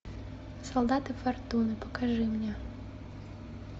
солдаты фортуны покажи мне